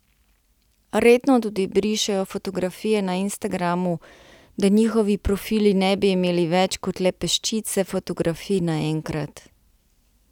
Redno tudi brišejo fotografije na Instagramu, da njihovi profili ne bi imeli več kot le peščice fotografij naenkrat.